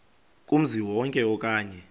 kumzi wonke okanye